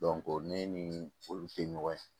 ne ni olu te ɲɔgɔn ye